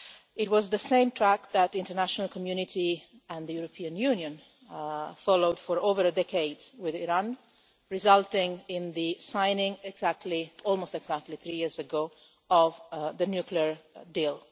It was the same track that the international community and the European Union followed for over a decade with Iran, resulting in the signing, almost exactly three years ago, of the nuclear deal.